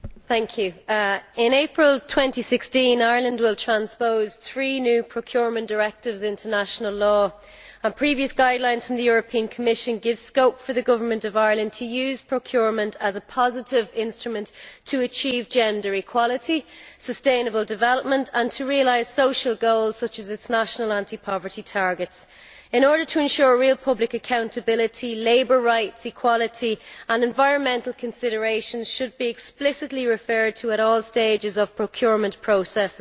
Mr President, in April 2016 Ireland will transpose three new procurement directives into national law and previous guidelines from the Commission give scope for the government of Ireland to use procurement as a positive instrument to achieve gender equality and sustainable development, and to realise social goals such as its national anti-poverty targets. In order to ensure real public accountability, labour rights, equality and environmental considerations should be explicitly referred to at all stages of procurement processes.